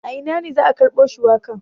A ina ne za a karbo shuwakan?